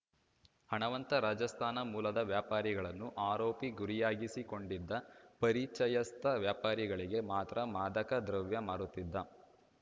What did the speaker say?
ಹಣವಂತ ರಾಜಸ್ಥಾನ ಮೂಲದ ವ್ಯಾಪಾರಿಗಳನ್ನು ಆರೋಪಿ ಗುರಿಯಾಗಿಸಿಕೊಂಡಿದ್ದ ಪರಿಚಯಸ್ಥ ವ್ಯಾಪಾರಿಗಳಿಗೆ ಮಾತ್ರ ಮಾದಕ ದ್ರವ್ಯ ಮಾರುತ್ತಿದ್ದ